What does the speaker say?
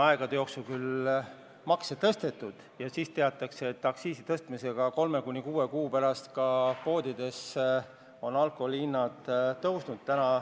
Aegade jooksul on küll makse tõstetud ja on teada, et aktsiisi tõstmise peale on 3–6 kuu pärast poodides alkoholi hinnad tõusnud.